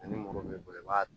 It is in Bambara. Ni muru b'i bolo i b'a